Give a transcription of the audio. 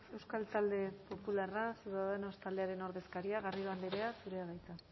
euskal talde popularra ciudadanos taldearen ordezkaria garrido andrea zurea da hitza